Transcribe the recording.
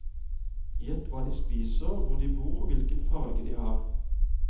Gjett hva de spiser, hvor de bor og hvilken farge de har.